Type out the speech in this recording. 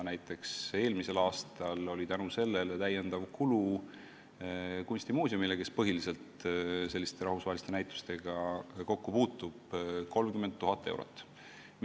Näiteks eelmisel aastal oli selle tõttu täiendav kulu kunstimuuseumile, kes põhiliselt selliste rahvusvaheliste näitustega kokku puutub, 30 000 eurot.